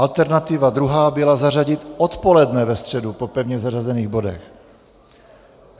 Alternativa druhá byla zařadit odpoledne ve středu po pevně zařazených bodech.